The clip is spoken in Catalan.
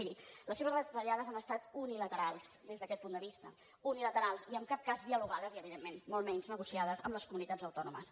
miri les seves retallades han estat unilaterals des d’aquest punt de vista unilaterals i en cap cas dialogades i evidentment molt menys negociades amb les comunitats autònomes